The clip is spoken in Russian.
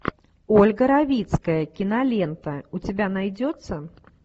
ольга равицкая кинолента у тебя найдется